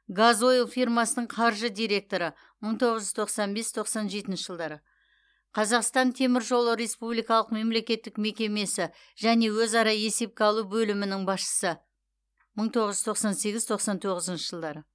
газойл фирмасының қаржы директоры мың тоғыз жүз тоқсан бес тоқсан жетінші жылдары қазақстан темір жолы республикалық мемлекеттік мекемесі және өзара есепке алу бөлімінің басшысы мың тоғыз жүз тоқсан сегіз тоқсан тоғызыншы жылдары